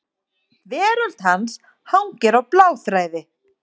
Veröld hans hangir á bláþræði.